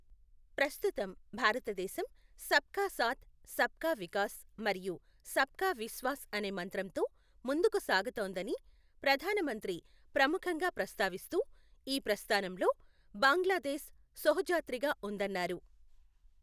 ప్రస్తుతం, భారతదేశం సబ్ కా సాథ్, సబ్ కా వికాస్ మరియు సబ్ కా విశ్వాస్ అనే మంత్రంతో ముందుకు సాగుతోందని ప్రధాన మంత్రి ప్రముఖంగా ప్రస్తావిస్తూ, ఈ ప్రస్థానంలో బాంగ్లాదేశ్ శొహొజాత్రిగా ఉందన్నారు.